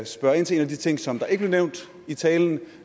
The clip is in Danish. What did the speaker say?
spørge ind til en af de ting som der ikke blev nævnt i talen